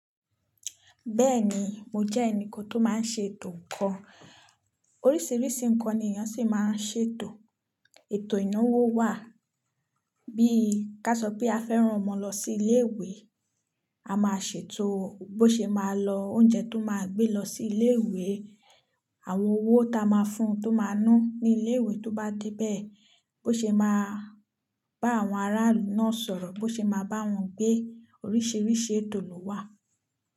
Bẹ́ẹ̀ni, mo jẹ́ ẹnì kan tó máa ń ṣe ètò kan. Oríṣiríṣi nǹkan ni èèyàn sì máa ń ṣe ètò. Ètò ìnáwó wà, bí ka sọ pé a fẹ́ rán ọmọ lọ sí ilé ìwé, a máa ṣètò bó ṣe máa lọ oúnjẹ tó máa gbé lọ sí ilé ìwé, àwọn owó táa máa fún tó máa ná ní ilé ìwé tó bá dé bẹ́ẹ̀, bó ṣe máa bá àwọn ará ilú náà sọ̀rọ̀, bó ṣe máa bá wọn gbé. Oríṣiríṣi ètò ló wà.